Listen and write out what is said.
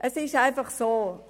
Es ist einfach so: